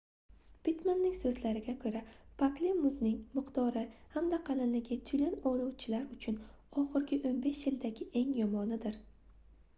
pittmanning soʻzlariga koʻra pakli muzning miqdori hamda qalinligi tyulen ovlovchilar uchun oxirgi 15 yildagi eng yomonidir